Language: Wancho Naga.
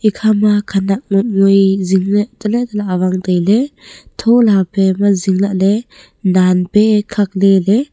ekhama khanak ngot ngoi jing le tale tale awang le taile thola pema jing lah le nan pe khak lele.